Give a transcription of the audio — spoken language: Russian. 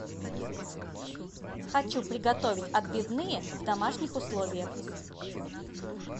хочу приготовить отбивные в домашних условиях